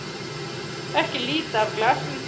Ekki líta af glasinu þínu.